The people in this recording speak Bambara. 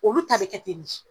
Olu ta be kɛ ten de